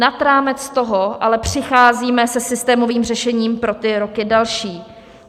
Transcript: Nad rámec toho ale přicházíme se systémovým řešením pro ty roky další.